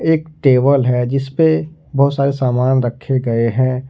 एक टेबल है जिसपे बहुत सारे सामान रखे गए हैं।